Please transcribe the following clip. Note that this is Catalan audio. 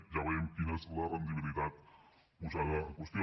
ja veiem quina és la rendibilitat posada en qüestió